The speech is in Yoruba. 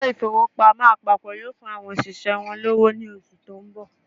Ilé ìfowópamọ́ àpapọ̀ yóò fún àwọn òṣìṣẹ́ wọn lọ́wọ́ ní oṣù tó ń nọ̀